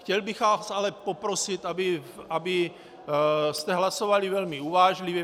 Chtěl bych vás ale poprosit, abyste hlasovali velmi uvážlivě.